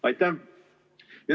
Aitäh!